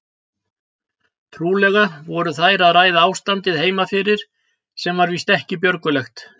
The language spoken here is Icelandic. Trúlega voru þeir að ræða ástandið heima fyrir sem var víst ekki björgulegt.